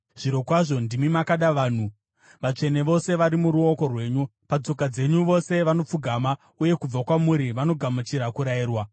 Zvirokwazvo ndimi makada vanhu; vatsvene vose vari muruoko rwenyu. Patsoka dzenyu vose vanopfugama, uye kubva kwamuri vanogamuchira kurayirwa,